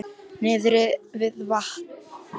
Niðri við vatn?